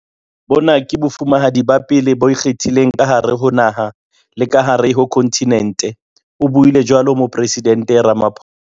"Bona ke Bofumahadi ba pele bo ikgethileng ka hare ho naha le ka hare ho khonthinente," o buile jwalo Moporesidente Ramaphosa.